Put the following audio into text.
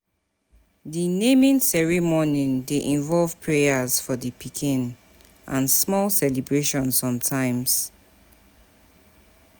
Di naming ceremoning dey involve prayers for di pikin and small celebration sometimes